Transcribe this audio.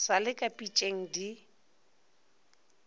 sa le ka pitšeng di